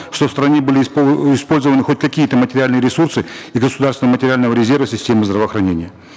что в стране были использованы хоть какие то материальные ресурсы из государственного материального резерва системы здравоохранения